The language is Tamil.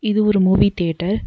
இது ஒரு மூவி தியேட்டர் .